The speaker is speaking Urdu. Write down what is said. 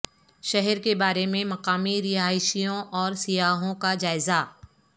شہر کے بارے میں مقامی رہائشیوں اور سیاحوں کا جائزہ